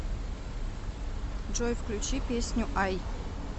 джой включи песню ай